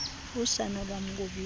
usana lwam ngobisi